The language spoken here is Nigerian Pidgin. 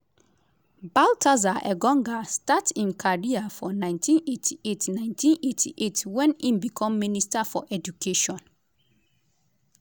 baltasar engonga start im career for 1998 1998 wen im become minister for education.